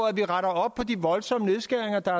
at vi retter op på de voldsomme nedskæringer der